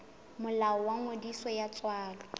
molao wa ngodiso ya tswalo